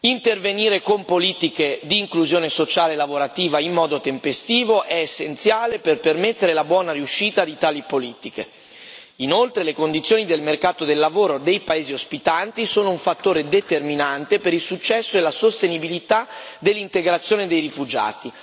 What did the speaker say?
Intervenire con politiche di inclusione sociale e lavorativa in modo tempestivo è essenziale per permettere la buona riuscita di tali politiche. Inoltre, le condizioni del mercato del lavoro, dei paesi ospitanti sono un fattore determinante per il successo e la sostenibilità dell'integrazione dei rifugiati.